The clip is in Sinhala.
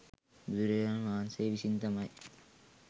බුදුරජාණන් වහන්සේ විසින් තමයි